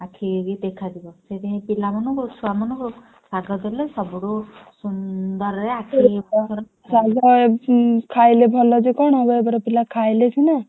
ଆଖିକି ବି ଦେଖା ଯିବ। ସେଥିପାଇଁ ପିଲାମାନଙ୍କୁ ଛୁଆମାନଙ୍କୁ ଶାଗ ଦେଲେ ସବୁଠୁ ସୁନ୍ଦରରେ